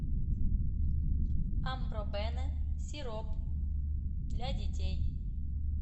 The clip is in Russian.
амбробене сироп для детей